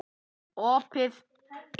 Opið inn!